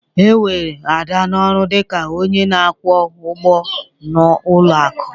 E were Ada n'ọrụ dị ka onye na-akwụ ụgwọ n'ụlọ akụ.